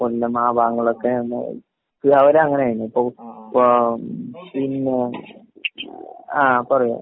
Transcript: കൊല്ലം ആ ഭാഗങ്ങളിലൊക്കെ ആ അവിടെ അങ്ങനെയാണ്. ഇപ്പൊ.ഏഹ് പിന്നെ ആഹ് പറയൂ.